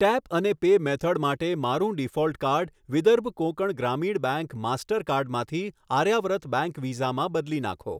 tap અને pay method માટે મારું default card Vidarbha Konkan Gramin bank master કાર્ડમાંથી આર્યાવ્રત બેંક વીઝામાં બદલી નાખો